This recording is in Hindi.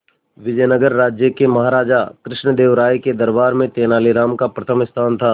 विजयनगर राज्य के महाराजा कृष्णदेव राय के दरबार में तेनालीराम का प्रथम स्थान था